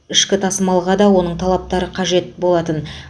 ішкі тасымалға да оның талаптары қажет болатын